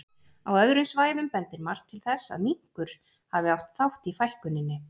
Á öðrum svæðum bendir margt til þess að minkur hafi átt þátt í fækkuninni.